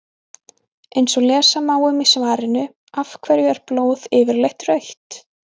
Eins og lesa má um í svarinu Af hverju er blóð yfirleitt rautt?